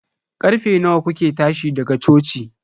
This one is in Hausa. Karfe nawa kuke tashi daga coci?